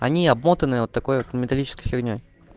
они обмотаны вот такой вот металлический фигней